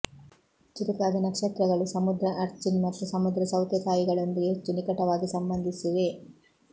ಚುರುಕಾದ ನಕ್ಷತ್ರಗಳು ಸಮುದ್ರ ಅರ್ಚಿನ್ ಮತ್ತು ಸಮುದ್ರ ಸೌತೆಕಾಯಿಗಳೊಂದಿಗೆ ಹೆಚ್ಚು ನಿಕಟವಾಗಿ ಸಂಬಂಧಿಸಿವೆ